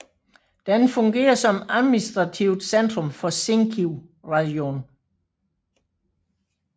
Den fungerer som administrativt centrum for Zinkiv rajon